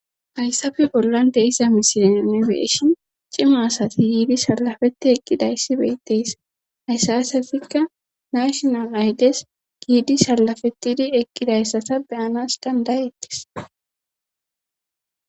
hayssafe bollan de7isa misilen nu be7shin cima asati yiidi salafeti eqqidayssi beyttees haysatikka nashinal aydes giidi salafetidi eqqidayssata beyanas dandayettis